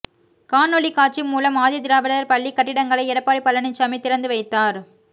காணொலிக் காட்சி மூலம் ஆதி திராவிடர் பள்ளி கட்டிடங்களை எடப்பாடி பழனிசாமி திறந்து வைத்தார்